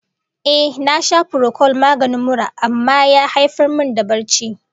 Ehh, na sha furokol maganin mura amma ya haifar min da barci.